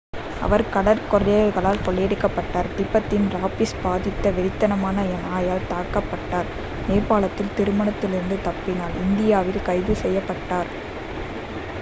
அவர் கடற்கொள்ளையர்களால் கொள்ளையடிக்கப்பட்டார் திபெத்தில் ராபிஸ் பாதித்த வெறித்தனமான நாயால் தாக்கப்பட்டார் நேபாளத்தில் திருமணத்திலிருந்து தப்பினார் இந்தியாவில் கைது செய்யப்பட்டார்